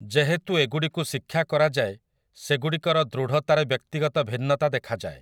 ଯେହେତୁ ଏଗୁଡିକୁ ଶିକ୍ଷା କରାଯାଏ ସେଗୁଡିକର ଦୃଢତାରେ ବ୍ୟକ୍ତିଗତ ଭିନ୍ନତା ଦେଖାଯାଏ ।